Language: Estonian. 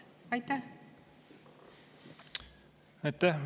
Aitäh!